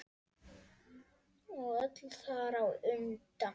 Og öll þar á undan.